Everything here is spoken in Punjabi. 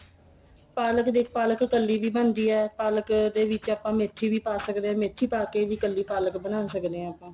ਪਾਲਕ ਦੇਖ ਪਾਲਕ ਕੱਲੀ ਵੀ ਬਣਦੀ ਏ ਪਾਲਕ ਦੇ ਵਿੱਚ ਆਪਾਂ ਮੇਥੀ ਵੀ ਪਾ ਸਕਦੇ ਆ ਮੇਥੀ ਪਾ ਕੇ ਵੀ ਕੱਲੀ ਪਾਲਕ ਬਣਾ ਸਕਦੇ ਆ